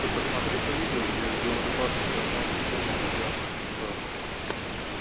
ты посмотри то видео где в белой рубашке там на эту тему как раз а ну